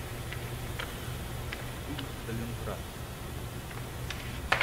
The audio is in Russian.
фильм сталинград